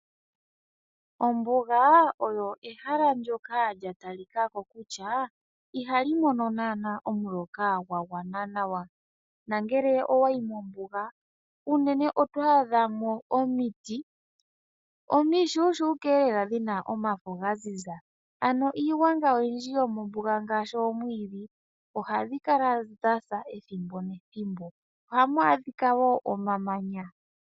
Ombuga olyo ehala ndoka lya talika ko kutya ihali mono naana omuloka gwa gwana nawa, na ngele owa yi mombuga unene oto adha mo omiti omishushuka elela dhina omafo ga ziza. Ano iigwanga oyindji yomombuga ngaashi oomwiidhi ohadhi kala dha sa ethimbo nethimbo. Ohamu adhika wo omamanya.